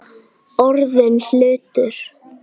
Orðinn hlutur.